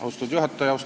Austatud juhataja!